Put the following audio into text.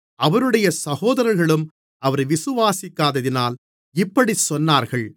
அவருடைய சகோதரர்களும் அவரை விசுவாசிக்காததினால் இப்படிச் சொன்னார்கள்